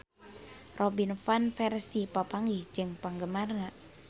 Robin Van Persie papanggih jeung penggemarna